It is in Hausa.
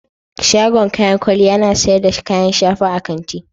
Shagon kayan kwalliya yana sayar da kayan shafa a kanti.